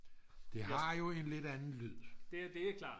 det har jo en lidt anden lyd